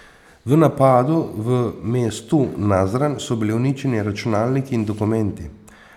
V napadu v mestu Nazran so bili uničeni računalniki in dokumenti.